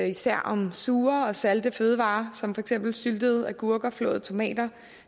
især om sure og salte fødevarer som for eksempel syltede agurker flåede tomater